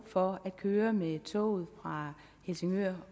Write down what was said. for at køre med toget fra helsingør